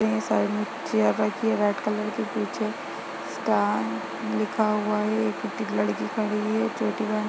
ये साइड में चेयर रखी है रेड कलर की पीछे स्टार लिखा हुआ है एक लड़की खड़ी है चोटी बना --